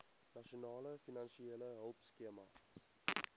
nasionale finansiële hulpskema